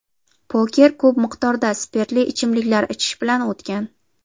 Poker ko‘p miqdorda spirtli ichimliklar ichish bilan o‘tgan.